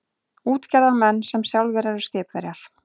Útgerðarmenn sem sjálfir eru skipverjar.